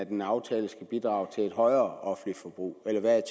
en aftale skal bidrage til et højere offentligt forbrug eller hvad